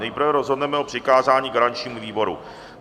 Nejprve rozhodneme o přikázání garančnímu výboru.